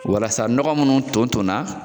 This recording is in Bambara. Walasa nɔgɔ munnu ton ton na